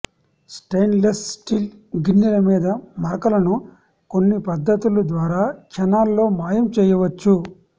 stainless steel గిన్నెల మీద మరకలను కొన్ని పద్దతుల ద్వారా క్షణాల్లో మాయం చేయవచ్చు